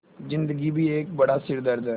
ज़िन्दगी भी एक बड़ा सिरदर्द है